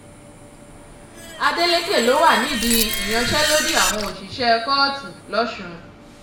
adeleke ló wà nídìí ìyanṣẹ́lódì àwọn òṣìṣẹ́ kóòtù lọ́sùn